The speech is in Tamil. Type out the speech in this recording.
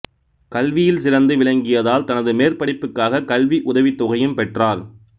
கல்வியில் சிறந்து விளங்கியதால் தனது மேற்படிப்புக்காகக் கல்வி உதவித்தொகையும் பெற்றார்